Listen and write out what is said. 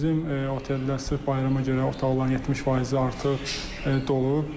Bizim oteldə sırf bayrama görə otaqların 70 faizi artıq dolub.